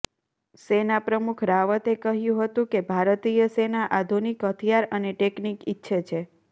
સેના પ્રમુખ રાવતે કહ્યું હતુ કે ભારતીય સેના આધુનિક હથિયાર અને ટેકનીક ઇચ્છે છે